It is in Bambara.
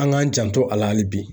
An k'an janto a la hali bi.